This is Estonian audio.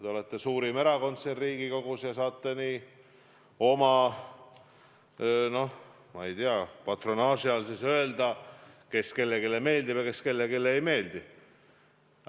Te olete suurim erakond siin Riigikogus ja saate oma, noh, ma ei tea, patronaaži all öelda, kes kellelegi meeldib ja kes kellelegi ei meeldi.